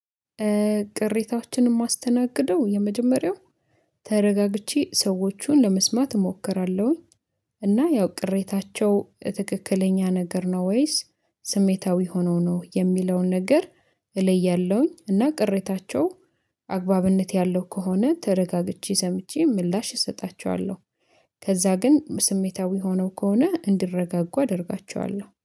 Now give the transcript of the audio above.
ቅሬታዎችን ማስተናግደው የመጀመሪያው ተረጋግቼ ሰዎቹን ለመስማት እሞክራለሁኝ። እና ያው ቅሬታቸው ትክክለኛ ነገር ነው ወይስ ስሜታዊ ሆነው ነው የሚለውን ነገር እለያለሁኝ። እና ቅሬታቸው አግባብነት ያለው ከሆነ ተረጋግቼ ሰምቼ ምላሽ እሰጣቸዋለሁ። ከዛ ግን ስሜታዊ ሆነው ከሆነ እንዲረጋጉ አደርጋቸዋለሁ